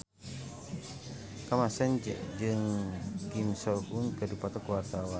Kamasean jeung Kim So Hyun keur dipoto ku wartawan